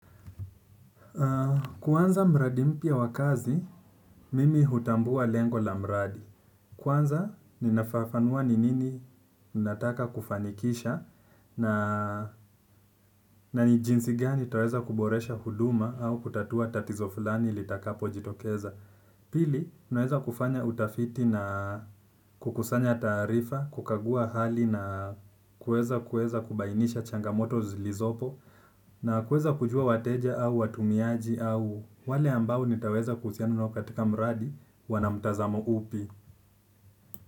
Kuanza mradi mpya wakazi, mimi hutambua lengo la mradi. Kwanza ninafafanua ni nini nataka kufanikisha na ni jinsi gani taweza kuboresha huduma au kutatua tatizo fulani litakapo jitokeza. Pili, naweza kufanya utafiti na kukusanya taarifa, kukagua hali na kuweza kuweza kubainisha changamoto zilizopo na kueza kujua wateja au watumiaji au wale ambao nitaweza kuhusiana nao katika mradi wanamtazamo upi.